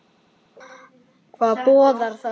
Hvað boðar það?